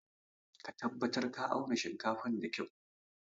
Ka tabatar ka auna shinkafan da kyua!